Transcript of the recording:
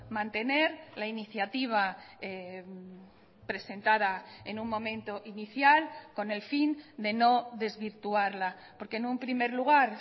mantener la iniciativa presentada en un momento inicial con el fin de no desvirtuarla porque en un primer lugar